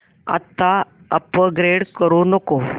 आता अपग्रेड करू नको